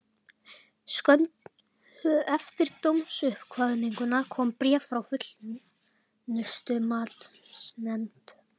Skömmu eftir dómsuppkvaðninguna kom bréf frá Fullnustumatsnefnd.